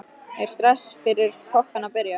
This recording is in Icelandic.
Er stress fyrir kokkana að byrja?